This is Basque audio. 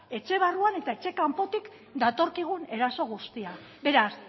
etxe barruan eta etxe kanpotik datorkigun eraso guztia beraz